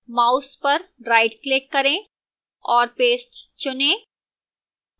mouse पर rightclick करें और paste चुनें